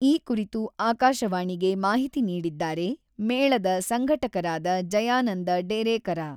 ಈ ಕುರಿತು ಆಕಾಶವಾಣಿಗೆ ಮಾಹಿತಿ ನೀಡಿದ್ದಾರೆ, ಮೇಳದ ಸಂಘಟಕರಾದ ಜಯಾನಂದ ಡೇರೇಕರ..